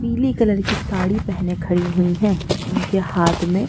पीली कलर की साड़ी पहने खड़ी हुई हैं उनके हाथ में--